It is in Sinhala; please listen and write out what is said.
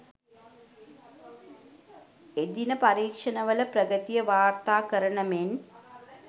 එදිනට පරීක්ෂණවල ප්‍රගතිය වාර්තා කරන මෙන්